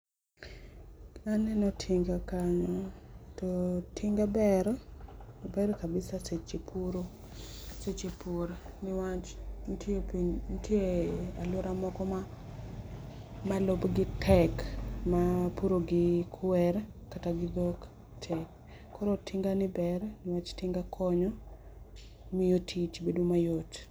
aneno tinga kanyo to tinga ber ober kabisa e seche puro seche pur niwach nitie nitie aluora moro ma lobgi tek mapuro gi kwer kata gi dhok tek koro tingani ber niwach tinga konyo miyo tich bedo mayot.